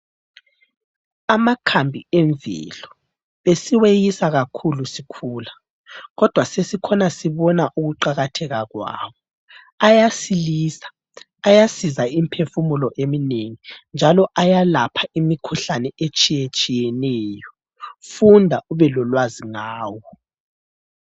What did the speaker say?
Amakhambi emvelo besiweyisa kakhulu sikhula kodwa sesikhona sibona ukuqakatheka kwawo. Ayasilisa, ayasiza imphefumulo eminengi njalo ayalapha imikhuhlane etshiye tshiyeneyo. Funda ubelolwazi ngawo.